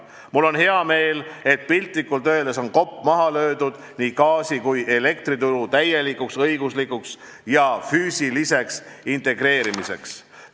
Mul on hea meel, et piltlikult öeldes on kopp maha löödud nii gaasi- kui ka elektrituru täielikuks õiguslikuks ja füüsiliseks integreerimiseks.